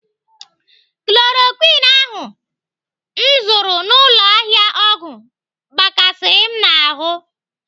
Chloroquine ahụ m zụrụ n'ụlọ ahịa ọgwụ gbakasịrị m ahụ.